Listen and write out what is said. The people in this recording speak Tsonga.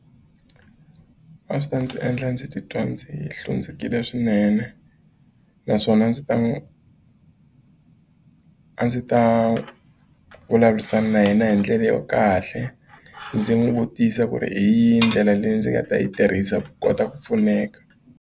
A swi ta ndzi endla ndzi titwa ndzi hlundzukile swinene naswona ndzi ta n'wi a ndzi ta vulavurisana na yena hi ndlela yo kahle ndzi n'wi vutisa ku ri hi ndlela leyi ndzi nga ta yi tirhisa ku kota ku pfuneka.